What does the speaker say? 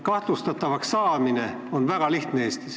Kahtlustatavaks saada on Eestis väga lihtne.